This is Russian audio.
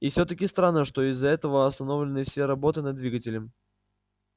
и всё-таки странно что из-за этого остановлены все работы над двигателем